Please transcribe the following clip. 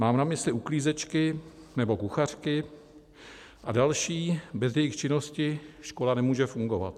Mám na mysli uklízečky nebo kuchařky a další, bez jejichž činnosti škola nemůže fungovat.